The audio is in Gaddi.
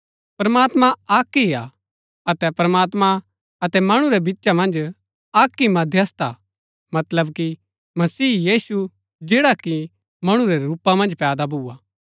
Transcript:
प्रमात्मां अक्क ही हा अतै प्रमात्मां अतै मणु रै बिचा मन्ज अक्क ही मध्यस्थ हा मतलब कि मसीह यीशु जैडा कि मणु रै रूपा मन्ज पैदा भुआ